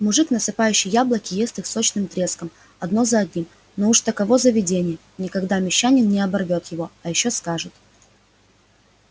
мужик насыпающий яблоки ест их сочным треском одно за одним но уж таково заведение никогда мещанин не оборвёт его а ещё скажет